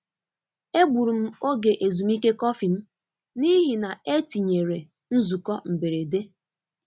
E gburu m ògè ezumike kọfị m n’ihi na e tinyere nzukọ mberede.